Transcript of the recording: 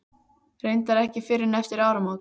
Reyndar ekki fyrr en eftir áramót.